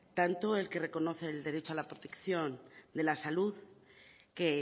tanto el que reconoce el derecho a la protección de la salud que